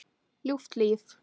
Ljúft líf.